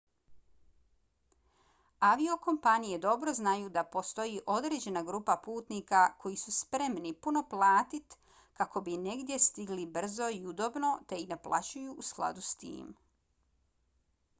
aviokompanije dobro znaju da postoji određena grupa putnika koji su spremni puno platit kako bi negdje stigli brzo i udobno te i naplaćuju u skladu s tim